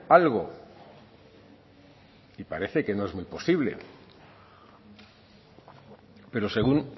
algo y parece que no es muy posible pero según